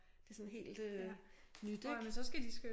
Det sådan helt øh nyt ik